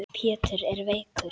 Pétur er veikur.